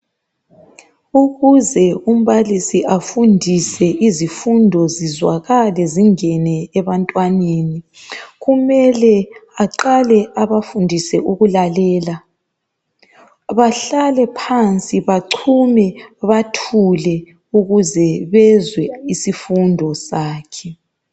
ukuze umbalisi afundise izifundo zizwakale zingene ebantwaneni kumele aqale abafundise ukulalela bahlale phansi bachume bathule ukuze bezwe isifundo sakhe